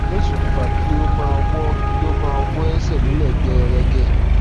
tí ó sì ṣokùnfa kí ó máa wọ máa wọ ẹsẹ nílẹ gẹẹrẹgẹ